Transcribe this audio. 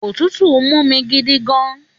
Òtútù n múmi gidigan